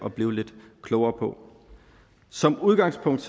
at blive lidt klogere på som udgangspunkt